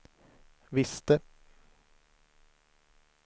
visste